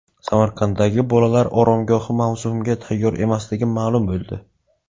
Samarqanddagi bolalar oromgohi mavsumga tayyor emasligi ma’lum bo‘ldi.